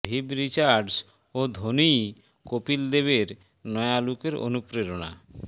Viv Richards ও ধোনিই কপিল দেবের নয়া লুকের অনুপ্রেরণা